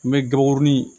N bɛ gabakurun ni